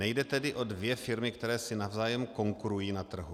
Nejde tedy o dvě firmy, které si navzájem konkurují na trhu.